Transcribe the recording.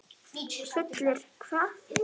Fullir hvað.!?